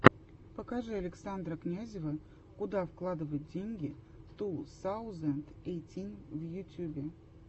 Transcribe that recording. покажи александра князева куда вкладывать деньги ту саузенд эйтин в ютюбе